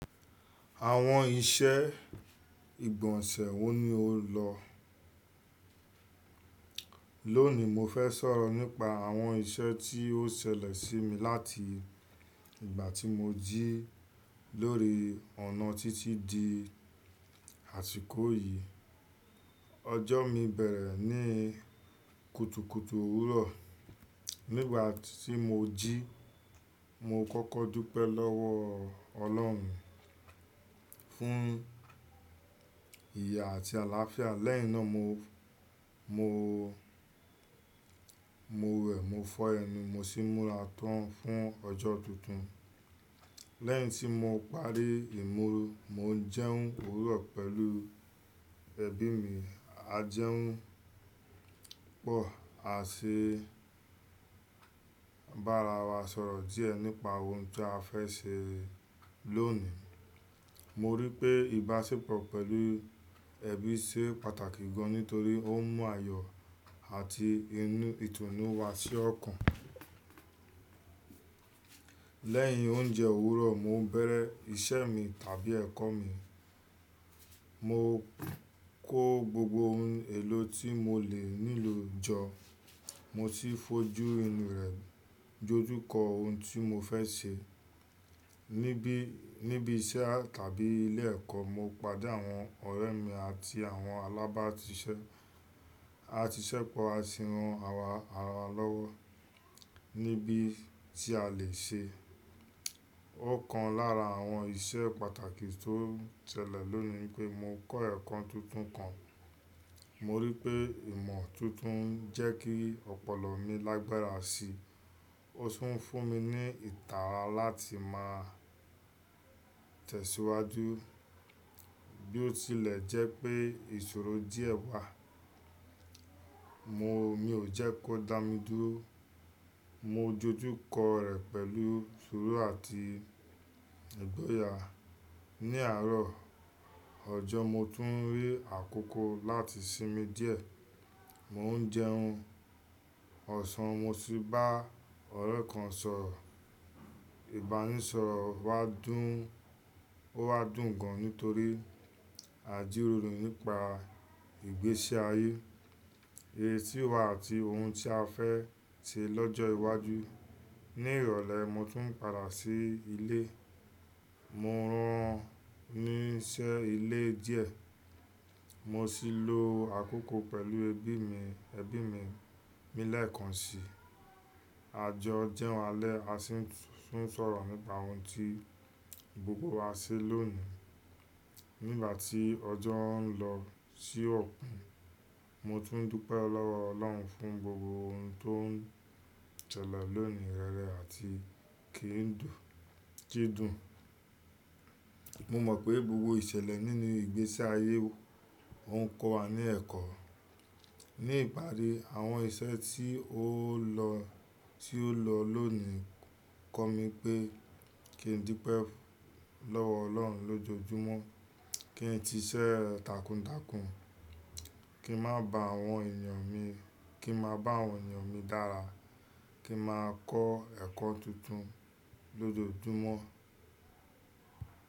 Àwọn iṣẹ́ ìgbọ̀nsẹ̀ wọ́n ni o lọ. Lónìí, mo fẹ́ sọ̀rọ̀ nípa àwọn iṣẹ́ tí ó ṣẹlẹ̀ sí mi láti ìgbà tí mo jí lórí ọ̀nà títí di àsìkò yìí. Ọjọ́ mi bẹ̀rẹ̀ ní kutukutu òwúrọ̀. Nígbà tí mo jí, mo kọ́kọ́ dúpẹ́ lọ́wọ́ Ọlọ́run fún ìye àti àláfíà. Lẹ́yìn náà, mo, mo, mo wẹ̀, mo fọ́ ẹnu, mo sì múra tán fún ọjọ́ tuntun. Lẹ́yìn tí mo parí ìmúra, mo ń jẹun òwúrọ̀ pẹ̀lú ẹbí mi. A jẹun pọ̀, a sì bá ara wa sọ̀rọ̀ díẹ̀ nípa ohun tí a fẹ́ ṣe lónìí. Mo rí pé ìbáṣepọ̀ pẹ̀lú ẹbí ṣe pàtàkì gan nítorí ó mú àyọ àti inú, ìtùnú wa sí ọ̀kàn. Lẹ́yìn oúnjẹ òwúrọ̀, mo ń bẹ̀rẹ̀ iṣẹ́ mi tàbí ẹ̀kọ́ mi. Mo kó gbogbo ohun èlò tí mo lè nílò jọ, mo sì fojú ẹnu rẹ̀ dojú kọ ohun tí mo fẹ́ ṣe. Nibí, níbi iṣẹ́ tàbí ilé ẹ̀kọ́, mo pàdé àwọn ọ̀rẹ́ mi àti àwọn alábàátiṣẹ́. A si ṣépọ̀, a sì ran ara wa lọ́wọ́ níbí tí a lè ṣe. Òkan lára àwọn iṣẹ́ pàtàkì tó ṣẹlẹ̀ lónìí pé mo kọ́ ẹ̀kọ́ tuntun kan. Mo rí pé ìmọ̀ tuntun ń jẹ́ kí ọpọlọ mi lágbára síi. Ó sì ń fún mi ní ìtara láti máa tẹ̀síwájú. Bí ó tilẹ̀ jẹ́ pé ìṣòro díẹ̀ wà, mo, mi ò jẹ́ kó dá mi dúró. Mo dojú kọ rẹ̀ pẹ̀lú ìṣòro àti ìgboyà. Ni àárọ̀ ọjọ́, mo tún rí àkókò láti sinmi díẹ̀. Mo ń jẹun ọ̀sán, mo sì bá ọ̀rẹ́ kan sọ̀rọ̀. Ìbánisọ̀rọ̀ wa dùn, ó wà dún gan nítorí àjíroro nípa ìgbésí ayé èyí tí wà àti ohun tí a fẹ́ ṣe lọ́jọ́ iwájú. Ni ìrọ̀lẹ́, mo tún padà sí ilé. Mo rán ní iṣẹ́ ilé díẹ̀. Mo sì lo àkókò pẹ̀lú ẹbí mi, ẹbí mi lẹ́ẹ̀kan si. A jọ jẹun alẹ́, a sì tún sọ̀rọ̀ nípa ohun tí gbogbo wa ṣe lónìí. Nígbà tí ọjọ́ ń lọ sí òpin, mo tún ń dúpẹ́ lọ́wọ́ Ọlọ́run fún gbogbo ohun tó ń ṣẹlẹ̀ lónìí rẹrẹ àti kì ń dùn, kì í dùn. Mo mọ̀ pé gbogbo ìṣẹ̀lẹ̀ nínú ìgbésí ayé wò, ó ń kọ́ wa ní ẹ̀kọ́. Ni ìparí, àwọn iṣẹ́ tí ó lọ, tí ó lọ lónìí kọ mi pé kí n dúpẹ́ lọ́wọ́ Ọlọ́run lójoojúmọ́, kí n ti iṣẹ́ takuntakun, kí n má bá àwọn ènìyàn mi, kí n má bá àwọn ènìyàn mi dára, kí n máa kọ́ ẹ̀kọ́ tuntun lójoojúmọ́.